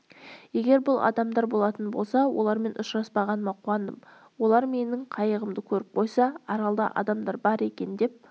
егер бұл адамдар болатын болса олармен ұшыраспағаныма қуандым олар менің қайығымды көріп қойса аралда адамдар бар екен деп